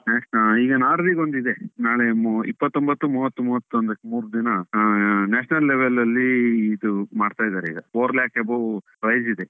National ಈಗ Norway ಗೊಂದು ಇದೆ. ನಾಳೆ ಇಪ್ಪತೊಂಭತ್ತು, ಮೂವತ್ತು, ಮೂವತ್ತೊಂದಕ್ಕೆ ಮೂರು ದಿನ ಆ national level ಅಲ್ಲಿ ಇದು ಮಾಡ್ತಾ ಇದ್ದಾರೆ ಈಗ. four lakh above price ಇದೆ.